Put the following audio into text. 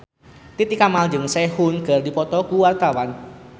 Titi Kamal jeung Sehun keur dipoto ku wartawan